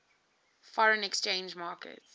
foreign exchange market